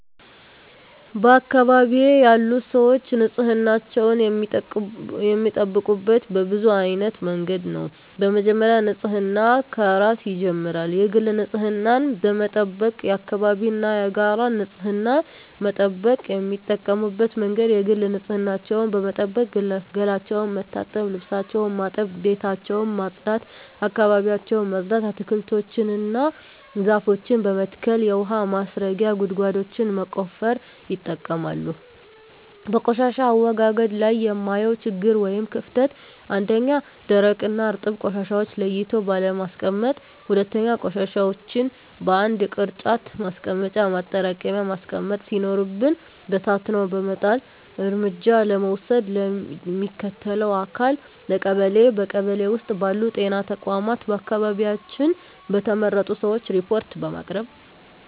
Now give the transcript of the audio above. በአካባቢዬ ያሉ ሰዎች ንፅህናቸውን የሚጠብቁት በብዙ አይነት መንገድ ነው በመጀመሪያ ንፅህና ከራስ ይጀምራል የግል ንፅህናን በመጠበቅ የአካባቢን እና የጋራ ንፅህና መጠበቅ። የሚጠቀሙበት መንገድ የግል ንፅህናቸውን በመጠበቅ ገላቸውን መታጠብ ልብሳቸውን ማጠብ ቤታቸውን ማፅዳት አካባቢያቸውን ማፅዳት። አትክልቶችን እና ዛፎችን በመትከል የውሀ ማስረጊያ ጉድጓዶችን በመቆፈር ይጠቀማሉ። በቆሻሻ አወጋገድ ላይ የማየው ችግር ወይም ክፍተት 1ኛ, ደረቅና እርጥብ ቆሻሻዎችን ለይቶ ባለማስቀመጥ 2ኛ, ቆሻሻዎችን በአንድ የቅርጫት ማስቀመጫ ማጠራቀሚያ ማስቀመጥ ሲኖርብን በታትኖ በመጣል። እርምጃ ለመውሰድ ለሚመለከተው አካል ለቀበሌ ,በቀበሌ ውስጥ ባሉ ጤና ተቋማት በአካባቢያችን በተመረጡ ሰዎች ሪፓርት በማቅረብ።